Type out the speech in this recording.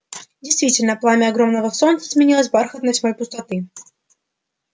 действительно пламя огромного солнца сменилось бархатной тьмой пустоты